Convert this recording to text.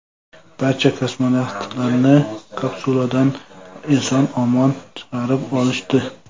Barcha kosmonavtlarni kapsuladan eson-omon chiqarib olishdi.